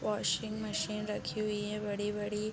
Washing machine रखी हुई है बड़ी-बड़ी।